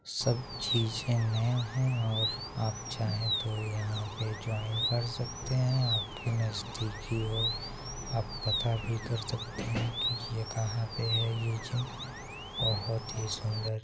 सब चीज़े नया है और आप चाहे तो यहाँ पे जॉइन कर सकते है आपकी नजदीकी और आप पता भी कर सकते है कि ये कहाँ पे है ये जिम बहुत ही सुंदर --